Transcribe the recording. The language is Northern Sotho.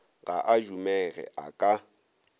ga a dumege a ka